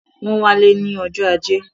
Wọ́n wá lé ní ọjọ́ ajé